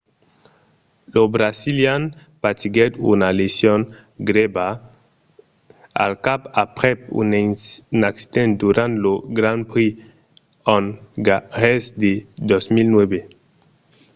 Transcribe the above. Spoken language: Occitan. lo brasilian patiguèt una lesion grèva al cap aprèp un accident durant lo grand prix ongarés de 2009